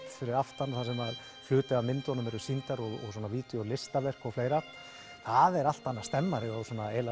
fyrir aftan þar sem hluti af myndunum eru sýndar og fleira það er allt annar stemmari og